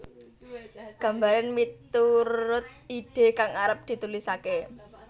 Gambaren miturut ide kang arep ditulisake